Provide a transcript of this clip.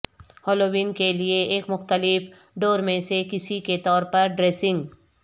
Halloween کے لئے ایک مختلف دوڑ میں سے کسی کے طور پر ڈریسنگ